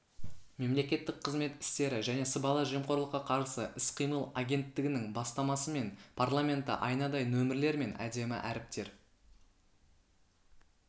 мемлекеттік қызмет істері және сыбайлас жемқорлыққа қарсы іс-қимыл агенттігінің бастамасымен парламенті айнадай нөмірлер мен әдемі әріптер